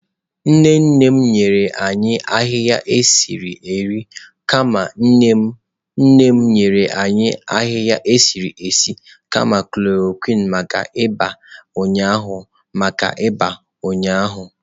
Nne nne m nyere anyị ahịhịa esi nri kama Nne nne m nyere anyị ahịhịa esi esi kama chloroquine maka ịba ụnyaahụ. maka ịba ụnyaahụ.